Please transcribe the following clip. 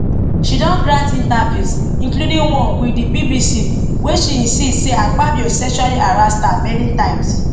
she don grant interviews includingone wit di bbc wia she insist say di akpabio sexually harass her many times